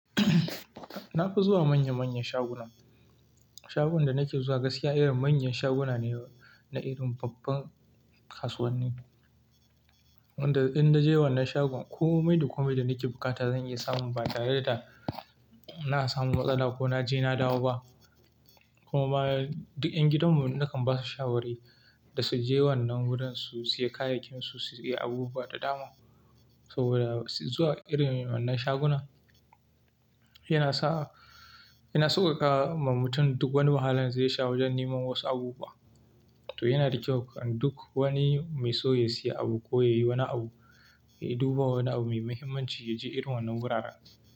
Na fi zuwa manya-manyan shaguna. Shagon da nake zuwa gaskiya irin manyan shaguna, ne na irin babban kasuwanni. Wanda idan na je wannan shagon komai da komai da nake bukata zan iya samu ba tare da na samu matsala, ko na je na dawo ba. Kuma duk ƴan gidanmu nakan ba su shawari da su je wannan wurin su siya kayakin su, su siya abubuwa da dama. Saboda zuwa irin wannan shaguna yana sa, yana sauƙaƙa ma mutum duk wani wahalan zai sha wajen neman wasu abubuwa. To yana da kyau duk wani mai so ya siya abu, ko yayi wani abu, ya duba wani abu mai muhimmanci ya ji irin wannan wuraren.